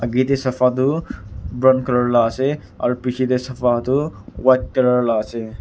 sofa du brown colour la ase aro piche tey sofa tu white colour la ase.